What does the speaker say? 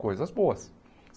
Coisas boas.